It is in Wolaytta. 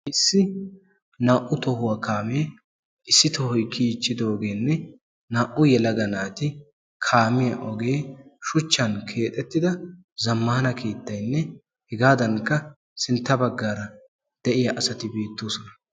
issi naa"u tohuwa kaamee issi tohoy kiyiichchidoogeenne naa"u yelaga naati kaamiya ogee shuchchan keexettida zammaana keettaynne hegaadankka sintta baggaara de"iya asati beettoosona.